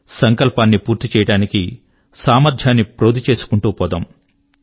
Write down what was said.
సంకల్పము ను పూర్తి చేయడానికి సామర్థ్యాన్ని ప్రోది చెసుకుంటూ పోదాం